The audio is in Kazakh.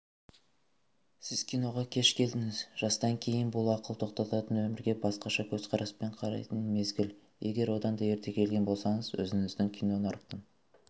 сіз киноға кеш келдіңіз жастан кейін бұл ақыл тоқтататын өмірге басқаша көзқараспен қарайтын мезгіл егер одан ерте келген болсаңыз өзіңізді кинонарықтың